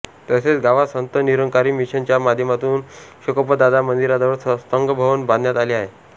तसेच गावात संत निरंकारी मिशन च्या माध्यमातून शेकोबादादा मंदिराजवळ सत्संग भवन बांधण्यात आले आहे